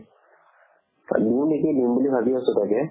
দিও নেকি দিম বুলি ভাবি আছো তাকে